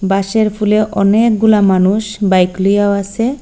বাঁশের ফোলে অনেকগুলা মানুষ বাইক লইয়াও আসে।